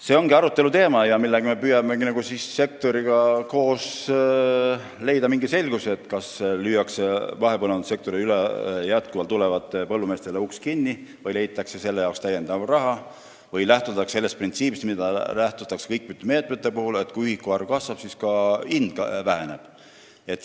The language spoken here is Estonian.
See ongi arutelu teema, mille puhul me püüame koos sektoriga leida mingit selgust, kas mahepõllumajandussektorisse jätkuvalt üle tulevatele põllumeestele lüüakse uks kinni, leitakse selle jaoks täiendavalt raha või lähtutakse samast printsiibist nagu mitmete teiste meetmete puhul, et kui ühiku arv kasvab, siis väheneb hind.